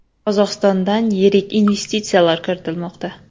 Qozog‘istondan yirik investitsiyalar kiritilmoqda.